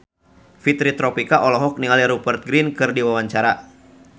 Fitri Tropika olohok ningali Rupert Grin keur diwawancara